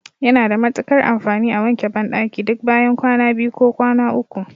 Yana da matuƙar amfani a wanke banɗaki duk bayan kwana biyu ko kwana uku.